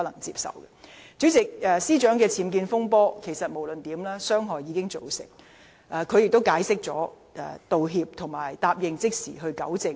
主席，司長的僭建風波既已造成傷害，她亦已作出解釋、道歉及承諾即時糾正。